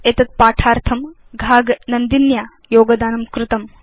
एतद् पाठार्थं घाग नन्दिन्या योगदानं कृतम्